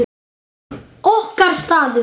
Okkar staður.